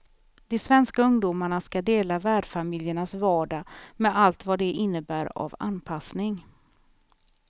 De svenska ungdomarna skall dela värdfamiljernas vardag med allt vad det innebär av anpassning.